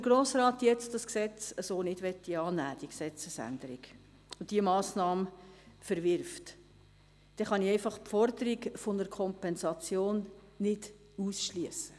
Wenn der Grosse Rat diese Gesetzesänderung jetzt nicht annehmen möchte und diese Massnahme verwerfen wird, kann ich die Forderung nach einer Kompensation einfach nicht ausschliessen.